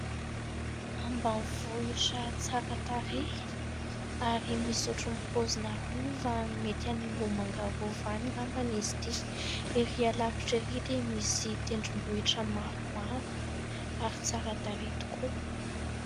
Ambanivohitra tsara tarehy ary misy ohatra ny paozina rova, mety any Ambohimanga rova any angamba izy itỳ. Erỳ lavitra erỳ dia misy tendrombohitra maromaro ary tsara tarehy tokoa.